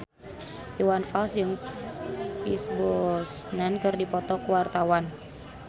Iwan Fals jeung Pierce Brosnan keur dipoto ku wartawan